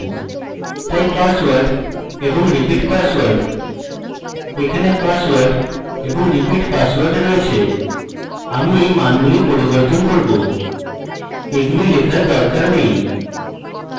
তাই pasword এবং repeat password এখানে password এবং repeat password রয়েছে আমি এই মানগুলি পরিবর্তন করব এগুলি লেখার দরকার নেই